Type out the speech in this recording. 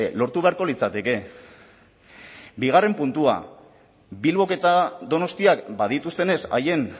lortu beharko litzateke bigarren puntua bilbok eta donostiak badituztenez haien